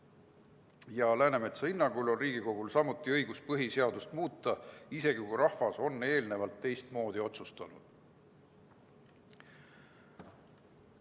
Samuti on Läänemetsa hinnangul Riigikogul õigus põhiseadust muuta, isegi kui rahvas on eelnevalt teistmoodi otsustanud.